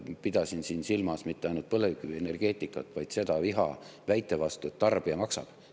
Pidasin siin silmas mitte ainult põlevkivienergeetikat, vaid seda viha väite vastu, et tarbija maksab.